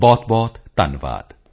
ਬਹੁਤਬਹੁਤ ਧੰਨਵਾਦ